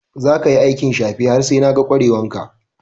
Za ka yi aikin safe har sai na ga kware wan ka!